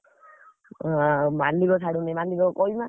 ହଁ ଆ ମାଲିକ ଛାଡୁନି, ମାଲିକ କହୁନା।